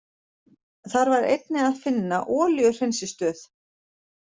Þar var einnig að finna olíuhreinsistöð.